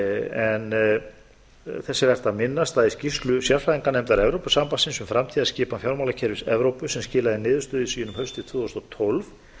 en þess er vert að minnast að í skýrslu sérfræðinganefndar evrópusambandsins um framtíðarskipan fjármálakerfis evrópu sem skilaði niðurstöðum sínum haustið tvö þúsund og tólf